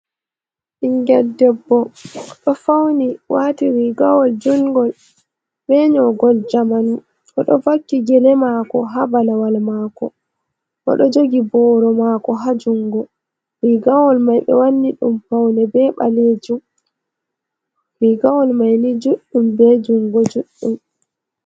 Ɓinngel debbo ɗo fawni waati riigawol juunngol bee nyoogol jamanu, o ɗo vakki gele maako haa balawal maako, o do jogi booro maako haa junngo. Riigawol may ɓe wanni ɗum pawne bee ɓaleejum, riigawol may ni juuɗum bee junngo juuɗɗum.